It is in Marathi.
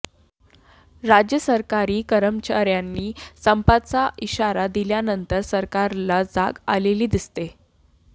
राज्य सरकारी कर्मचार्यांनी संपाचा इशारा दिल्यानंतर सरकारला जाग आलेली दिसते